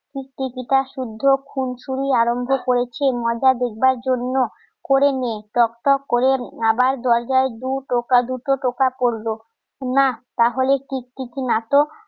টিকটিকিটা শুদ্ধ খুনসুটি আরম্ভ করেছে মজা দেখবার জন্য করে নিন টক টক করে আবার দরজায় দু টোকা দুটো টোকা করলো না তাহলে টিকটিকির না তো